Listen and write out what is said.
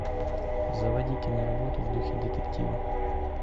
заводи киноработу в духе детектива